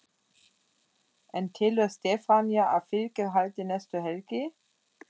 En telur Stefanía að fylgið haldi næstu helgi?